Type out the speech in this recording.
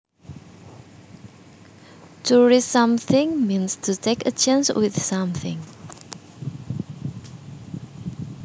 To risk something means to take a chance with something